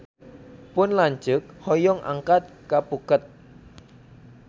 Pun lanceuk hoyong angkat ka Phuket